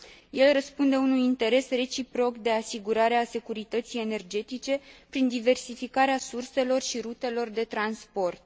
El răspunde unui interes reciproc de asigurare a securității energetice prin diversificarea surselor și rutelor de transport.